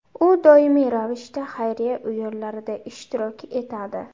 U doimiy ravishda xayriya o‘yinlarida ishtirok etadi.